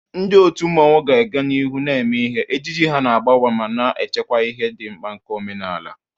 Ndị otu mmanwu ga-aga n'ihu na-eme ihe, ejiji ha na-agbanwe ma na-echekwa ihe dị mkpa nke omenala.